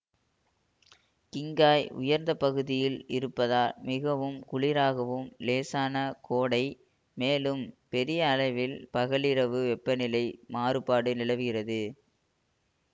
Qinghai உயர்ந்த பகுதியில் இருப்பதால் மிகவும் குளிராகவும் லேசான கோடை மேலும் பெரிய அளவில் பகலிரவு வெப்பநிலையில் மாறுபாடு நிலவுகிறது